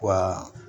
Wa